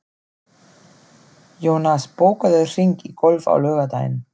Jónas, bókaðu hring í golf á laugardaginn.